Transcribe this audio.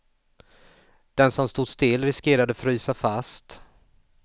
Den som stod still riskerade frysa fast.